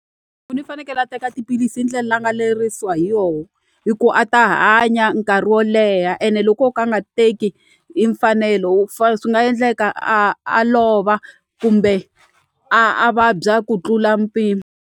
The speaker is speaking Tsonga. i fanekele a teka tiphilisi hi ndlela a nga lerisiwa hi yoho hi ku a ta hanya nkarhi wo leha ene loko wo ka a nga teki hi mfanelo swi nga endleka a a lova kumbe a a vabya ku tlula mpimo.